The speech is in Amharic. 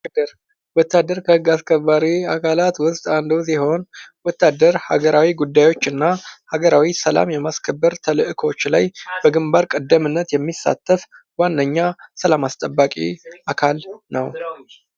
ወታደር ወታደር ከህግ አስከባሪ አካላት ዉስጥ አንዱ ሲሆን ወታደር ሃገራዊ ጉዳዮች እና ሃገራዊ ሰላሞች የማስከበር ተልእኮዎች ላይ በግንባር ቀደምነት የሚሳተፍ ዋነኛ ሰላም አስተባቂ አካል ነው።